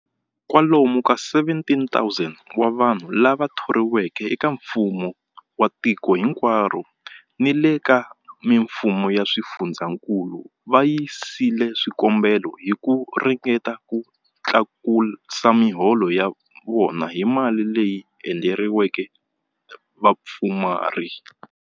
Kwalomu ka 17,000 wa vanhu lava thoriweke eka mfumo wa tiko hinkwaro ni le ka mifumo ya swifundzankulu va yisile swikombelo hi ku ringeta ku tlakusa miholo ya vona hi mali leyi endleriweke vapfumari.